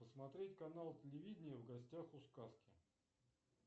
посмотреть канал телевидения в гостях у сказки